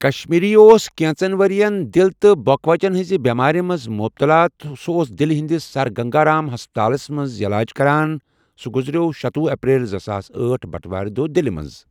کشمیری اوس کینژن ؤرین دل تہٕ بۄکہٕ وَچن ہٟنٛز بؠمار مَنٛز مبتلا تہٕ سُہ اوس دِلہ ہٕنٛدس سر گنگا رام ہسپتالَس مَنٛز عیٚلاج کران سُہ گزریو شتوُہ اپریل زٕساس أٹھ بَٹہ وار دۄہ دلہ مَنٛز۔